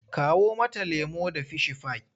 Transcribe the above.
Kawo mata lemo da fishifai!